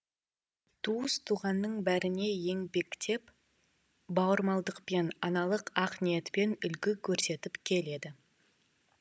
туыс туғанның бәріне еңбекпен бауырмалдықпен аналық ақ ниетпен үлгі көрсетіп келеді